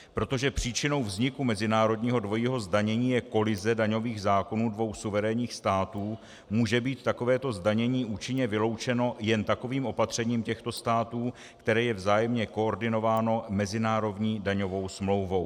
Protože příčinou vzniku mezinárodního dvojího zdanění je kolize daňových zákonů dvou suverénních států, může být takovéto zdanění účinně vyloučeno jen takovým opatřením těchto států, které je vzájemně koordinováno mezinárodní daňovou smlouvou.